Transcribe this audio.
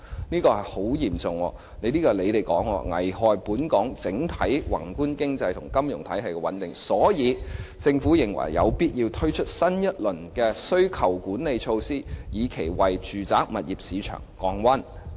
這是很嚴重的，按政府的說法，有關情況會"危害本港整體宏觀經濟及金融體系穩定"，所以有必要推出新一輪的需求管理措施，以期為住宅物業市場降溫。